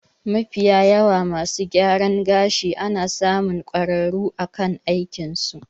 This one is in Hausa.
Mafiyawa masu gyaran gashi ana samun kwararru akan aikin su